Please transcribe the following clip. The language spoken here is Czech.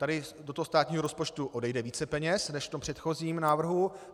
Tady do toho státního rozpočtu odejde více peněz než v tom předchozím návrhu.